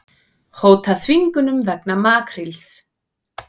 Hóta þvingunum vegna makríls